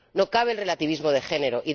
no cabe el relativismo de género.